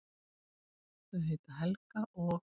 Þau heita Helga og